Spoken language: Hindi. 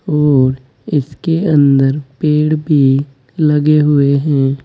और इसके अंदर पेड़ भी लगे हुए हैं।